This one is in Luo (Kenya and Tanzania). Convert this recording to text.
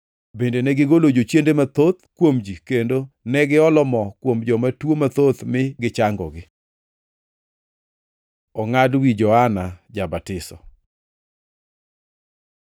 Bende negigolo jochiende mathoth kuom ji kendo ne giolo mo kuom joma tuo mathoth mi gichangogi. Ongʼad wi Johana Ja-batiso